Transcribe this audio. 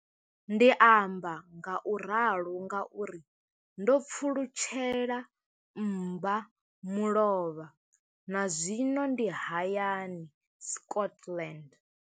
Ndi amba ngauralo nga uri ndo pfulutshela mmba mulovha na zwino ndi hayani, Scotland.